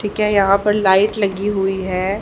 ठीक है यहां पर लाइट लगी हुई है।